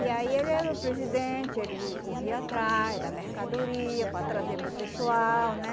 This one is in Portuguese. E aí ele era o presidente, ele corria atrás da mercadoria para trazer para o pessoal, né?